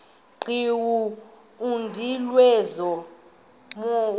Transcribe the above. qhiwu umnqamlezo womthi